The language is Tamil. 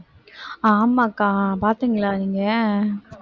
ஆமா அக்கா பாத்தீங்களா நீங்க